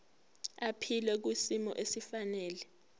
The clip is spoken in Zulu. aphile kwisimo esifanele